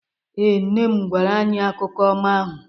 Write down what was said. Ee, Nne m gwara anyị akụkọ ọma ahụ